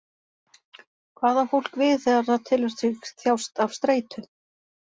Hvað á fólk við þegar það telur sig þjást af streitu?